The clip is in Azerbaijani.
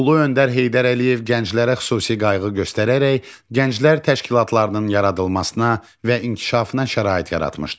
Ulu öndər Heydər Əliyev gənclərə xüsusi qayğı göstərərək, gənclər təşkilatlarının yaradılmasına və inkişafına şərait yaratmışdı.